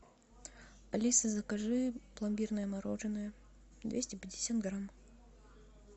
алиса закажи пломбирное мороженое двести пятьдесят грамм